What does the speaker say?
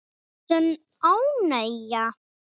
Sönn ánægja.